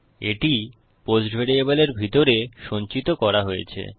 এটি পোস্ট ভ্যারিয়েবলের ভিতরে সঞ্চিত করা হয়েছে